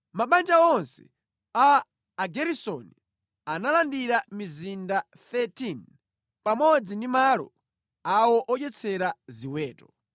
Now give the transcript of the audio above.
Mabanja onse a Ageresoni analandira mizinda 13 pamodzi ndi malo awo odyetsera a ziweto.